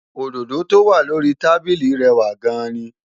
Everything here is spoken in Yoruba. Òdòdó tó wà lórí i tábíli rẹwà gan-an ni